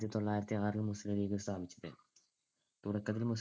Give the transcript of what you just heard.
തൊള്ളായിരത്തിയാറിൽ മുസ്ലീം ലീഗ് സ്ഥാപിച്ചത്. തുടക്കത്തിൽ മുസ്ലീം